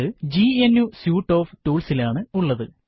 ഇത് GNU suite of ടൂള്സിലാണ് ഉള്ളത്